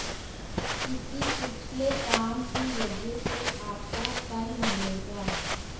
किसी पिछले काम की वजह से आपको फल मिलेगा